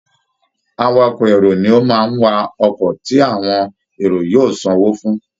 Awakọ̀ èrò ni ó máa ń wa ọkọ̀ tí àwọn èrò yóò sanwó fún